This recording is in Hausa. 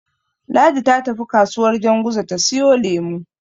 Ladi ta tafi kasuwar Janguza ta siyo lemo.